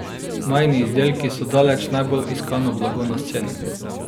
Majini izdelki so daleč najbolj iskano blago na sceni.